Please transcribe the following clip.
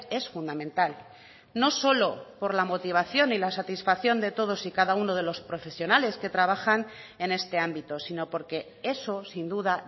es fundamental no solo por la motivación y la satisfacción de todos y cada uno de los profesionales que trabajan en este ámbito sino porque eso sin duda